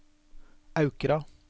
Aukra